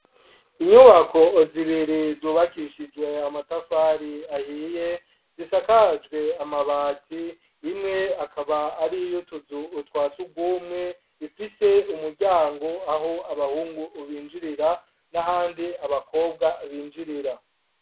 Inyubako zibiri zubakishijwe amatafari ahiye zisakajwe amabati, imwe ikaba ariy'utuzu twasugumwe ifise umuryango aho abahungu binjirira n'ahandi abakobwa binjirira.